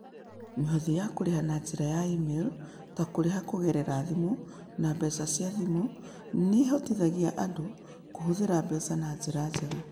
Mĩhothi ya kũrĩha na njĩra ya e-mail ta kũrĩha kũgerera thimũ na mbeca cia thimũ nĩ ĩhotithagia andũ kũhũthĩra mbeca na njĩra njega.